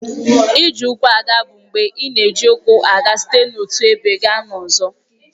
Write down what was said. Ije ụkwụ aga bụ mgbe ị na-eji ụkwụ aga site n'otu ebe gaa n'ọzọ.